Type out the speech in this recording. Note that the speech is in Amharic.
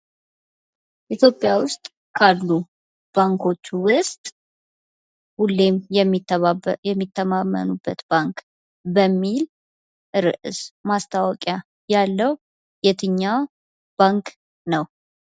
ኢትዮጵያ ውስጥ ካሉ ባንኮች ውስጥ ሁሌም የሚተማመኑበት ባንክ በሚል ርዕስ ማስታወቂያ ያለው የትኛው ባንክ ነው ?